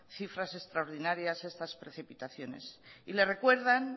cifras extraordinarias estas precipitaciones y le recuerdan